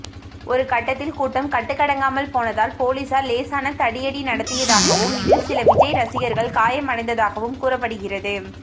ஒரு கட்டத்தில் கூட்டம் கட்டுக்கடங்காமல் போனதால் போலீசார் லேசான தடியடி நடத்தியதாகவும் இதில் சில விஜய் ரசிகர்கள் காயமடைந்ததாகவும் கூறப்படுகிறது